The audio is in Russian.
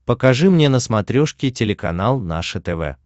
покажи мне на смотрешке телеканал наше тв